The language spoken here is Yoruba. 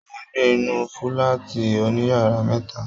Mo n gbé inú fúlàátí òníyàrá mẹta.